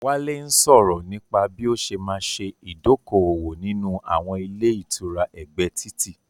Wálé ń sọrọ̀ nípa bí ó ṣé ma ṣe idoko-owo nínú àwọn ilé ìtura ẹgbẹ́ títì